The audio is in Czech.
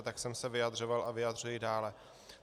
A tak jsem se vyjadřoval a vyjadřuji dále.